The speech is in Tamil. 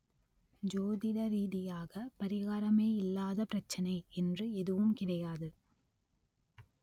ஜோதிட ரீதியாக பரிகாரமே இல்லாத பிரச்சனை என்று எதுவும் கிடையாது